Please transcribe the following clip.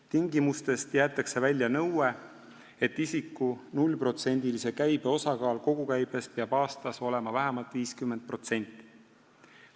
Tingimustest jäetakse välja nõue, et isiku nullprotsendilise käibe osakaal kogukäibest aastas peab olema vähemalt 50%.